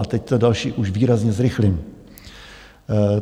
A teď to další už výrazně zrychlím.